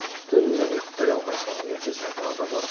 түнімен ұйықтай алмай соның ертесіне тағы да барып